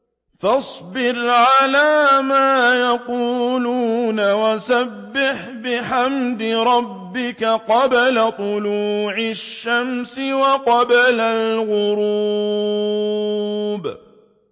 فَاصْبِرْ عَلَىٰ مَا يَقُولُونَ وَسَبِّحْ بِحَمْدِ رَبِّكَ قَبْلَ طُلُوعِ الشَّمْسِ وَقَبْلَ الْغُرُوبِ